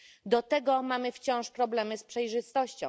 Do tego mamy wciąż problemy z przejrzystością.